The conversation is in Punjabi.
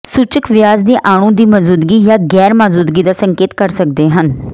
ਸੂਚਕ ਵਿਆਜ ਦੇ ਅਣੂ ਦੀ ਮੌਜੂਦਗੀ ਜਾਂ ਗੈਰ ਮੌਜੂਦਗੀ ਦਾ ਸੰਕੇਤ ਕਰ ਸਕਦੇ ਹਨ